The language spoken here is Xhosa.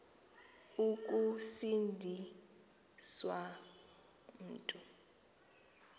ukusindi swa mntu